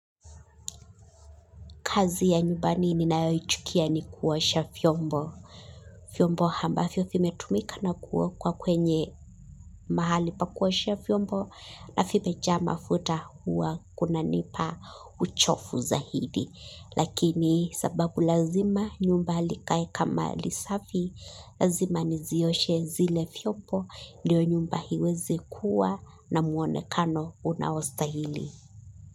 Kazi ya nyumbani ninayoyuchukia ni kuoasha vyombo. Vyombo ambavyo vimetumika na kuwekwa kwenye mahali pa kuoashea vyombo na vimeja mafuta huwa kunanipa uchovu za hidi. Lakini sababu lazima nyumba likae kama lisafi lazima nizioshe zile vyombo ndiyo nyumba iweze kuwa na muonekano unaostahili.